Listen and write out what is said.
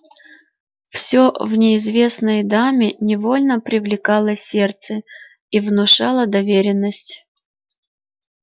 все в неизвестной даме невольно привлекало сердце и внушало доверенность